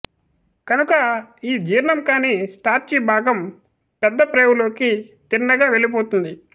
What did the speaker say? కనుక ఈ జీర్ణం కాని స్టార్చి భాగం పెద్ద ప్రేవులోకి తిన్నగా వెళ్ళిపోతుంది